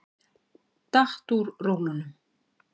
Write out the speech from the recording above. Datt úr rólunum.